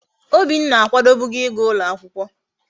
Obinna akwadobugo íga ulo akwukwo